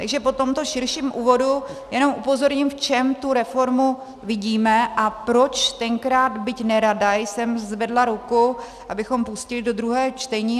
Takže po tomto širším úvodu jenom upozorním, v čem tu reformu vidíme a proč tenkrát, byť nerada, jsem zvedla ruku, abychom pustili do druhého čtení.